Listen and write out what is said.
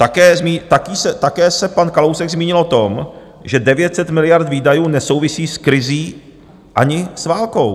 Také se pan Kalousek zmínil o tom, že 900 miliard výdajů nesouvisí s krizí ani s válkou.